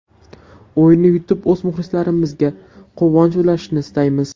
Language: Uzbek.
O‘yinni yutib o‘z muxlislarimizga quvonch ulashishni istaymiz.